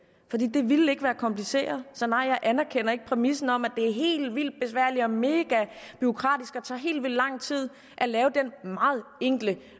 det ville ikke være kompliceret så nej jeg anerkender ikke præmissen om at det er helt vildt besværligt og mega bureaukratisk og tager helt vildt lang tid at lave den meget enkle